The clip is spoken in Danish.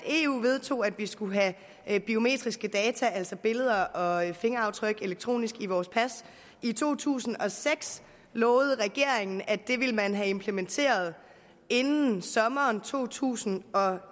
eu vedtog at vi skulle have biometriske data altså billeder og fingeraftryk elektronisk i vores pas i to tusind og seks lovede regeringen at det ville man have implementeret inden sommeren to tusind og